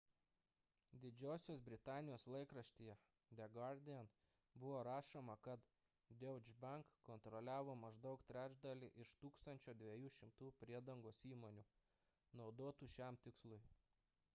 didžiosios britanijos laikraštyje the guardian buvo rašoma kad deutsche bank kontroliavo maždaug trečdalį iš 1200 priedangos įmonių naudotų šiam tikslui